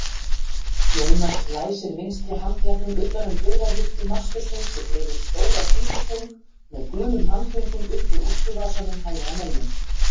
Jónas læsir vinstri handleggnum utan um burðarvirki mastursins og dregur stóra klípitöng með gulum handföngum upp úr úlpuvasanum hægra megin.